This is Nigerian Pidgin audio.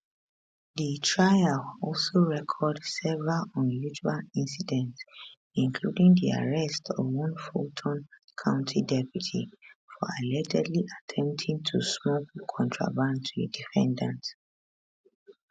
di trial also record several unusual incidents including di arrest of one fulton county deputy for allegedly attempting to smuggle contraband to a defendant